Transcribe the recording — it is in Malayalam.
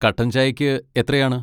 കട്ടൻ ചായയ്ക്ക് എത്രയാണ്?